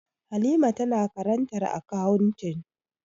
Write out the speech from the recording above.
Halima tana karantar akawuntin